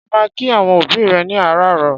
Ṣé ó máa ń kí àwọn òbí rẹ ní àràárọ̀?